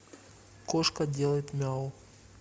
кошка делает мяу